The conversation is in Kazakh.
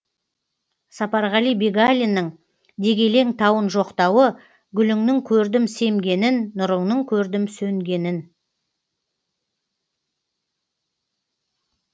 сапарғали бегалиннің дегелең тауын жоқтауы гүліңнің көрдім семгенін нұрыңның көрдім сөнгенін